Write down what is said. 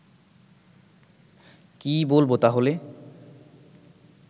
কী বলব তাহলে